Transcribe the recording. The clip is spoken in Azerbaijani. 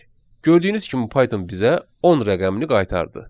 Gördüyünüz kimi Python bizə 10 rəqəmini qaytardı.